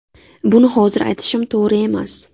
Buni hozir aytishim to‘g‘ri emas.